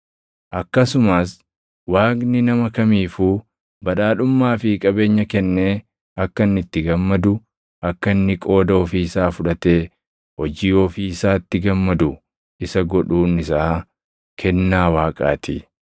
Akkasumas Waaqni nama kamiifuu badhaadhummaa fi qabeenya kennee akka inni itti gammadu, akka inni qooda ofii isaa fudhatee hojii ofii isaatti gammadu isa godhuun isaa, kennaa Waaqaa ti.